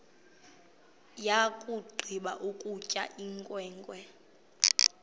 yakugqiba ukutya inkwenkwe